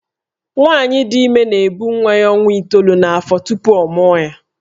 Nwaanyị dị ime na-ebu nwa ya ọnwa itoolu n’afọ tupu ọ mụọ ya